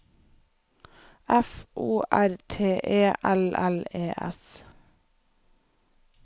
F O R T E L L E S